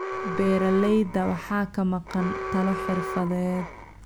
Beeralayda waxaa ka maqan talo xirfadeed